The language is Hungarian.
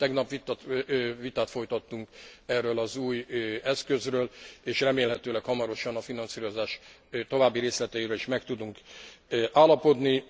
Tegnap vitát folytattunk erről az új eszközről, és remélhetőleg hamarosan a finanszírozás további részleteiről is meg tudunk állapodni.